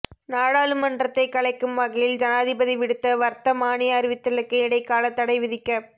நாடாளுமன்றத்தை கலைக்கும் வகையில் ஜனாதிபதி விடுத்த வர்த்தமானி அறிவித்தலுக்கு இடைக்காலத் தடை விதிக்கப்